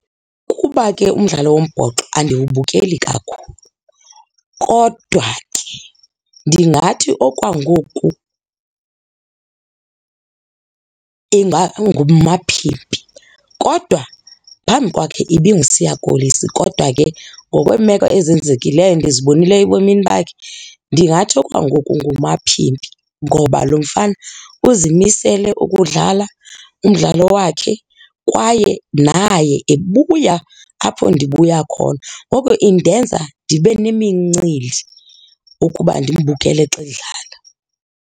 Kuba ke umdlalo wombhoxo andiwubukeli kakhulu, kodwa ke ndingathi okwangoku nguMapimpi kodwa phambi kwakhe ibinguSiya Kolisi kodwa ke ngokweemeko ezenzekileyo endizibonileyo ebomini bakhe ndingathi okwangoku nguMapimpi. Ngoba lo mfana uzimisele ukudlala umdlalo wakhe kwaye naye ebuya apho ndibuya khona. Ngoko indenza ndibe nemincili ukuba ndimbukele xa edlala.